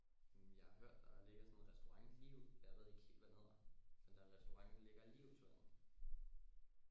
Mh jeg har hørt der ligger sådan en restaurant lige ud jeg ved ikke helt hvad den hedder den der restaurant der ligger lige ud til vandet